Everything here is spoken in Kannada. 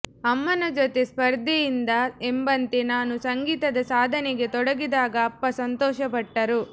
ಅಮ್ಮನ ಜೊತೆ ಸ್ಪರ್ಧೆಯಿಂದ ಎಂಬಂತೆ ನಾನು ಸಂಗೀತದ ಸಾಧನೆಗೆ ತೊಡಗಿದಾಗ ಅಪ್ಪ ಸಂತೋಷಪಟ್ಟರು